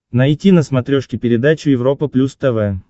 найти на смотрешке передачу европа плюс тв